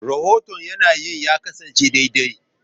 Rahoton yanayin ya kasance daidai.